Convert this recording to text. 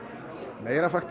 meira